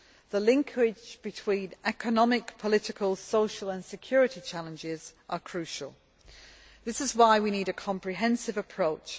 The linkage between economic, political, social and security challenges are crucial. This is why we need a comprehensive approach.